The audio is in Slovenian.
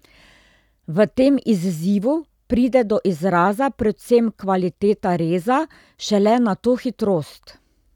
V tem izzivu pride do izraza predvsem kvaliteta reza, šele na to hitrost.